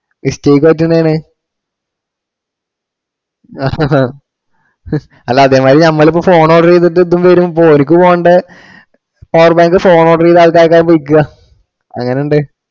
Mistake പറ്റുന്നയാണ്‌. അല്ല അതെ മാതിരി നമ്മള് ഇപ്പൊ phone order ചെയ്തിട്ട് ഇപ്പം വരും. ഓര്ക്കു ഓൻറെ power bank phone order ചെയ്താൾക്കായിരിക്കും വിൽക്കുക എങ്ങനുണ്ട്?